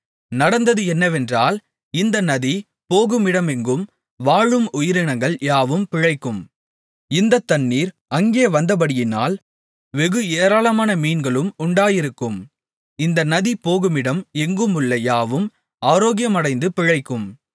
நடந்தது என்னவென்றால் இந்த நதி போகுமிடமெங்கும் வாழும் உயிரினங்கள் யாவும் பிழைக்கும் இந்தத் தண்ணீர் அங்கே வந்தபடியினால் வெகு ஏராளமான மீன்களும் உண்டாயிருக்கும் இந்த நதி போகுமிடம் எங்குமுள்ள யாவும் ஆரோக்கியமடைந்து பிழைக்கும்